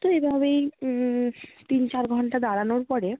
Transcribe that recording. তো এভাবেই উম তিন চার ঘন্টা দাঁড়ানোর পরে